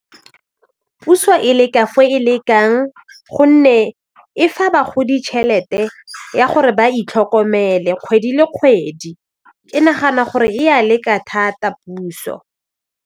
Puso e le ka fo e lekang gonne e fa bagodi tšhelete ya gore ba itlhokomele kgwedi le kgwedi ke nagana gore ya leka thata puso.